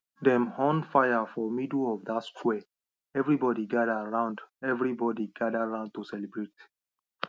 dem on fire for middle of dat square everybody gather round everybody gather round to celebrate